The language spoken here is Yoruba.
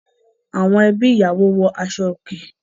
Àwọn ẹbí ìyàwó wọ aṣọ òkè.